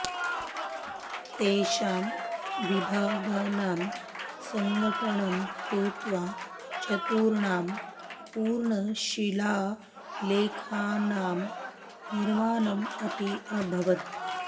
तेषां विभागानां सङ्गटनं कृत्वा चतुर्णां पूर्णशिलालेखानां निर्माणम् अपि अभवत्